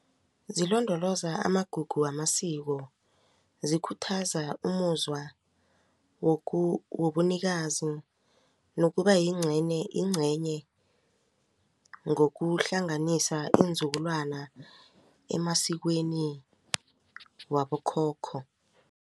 Zilondoloza amagugu wamasiko zikhuthaza umuzwa wobunikazi nokubayingcenye ngokuhlanganisa iinzukulwana emasikweni wabokhokho.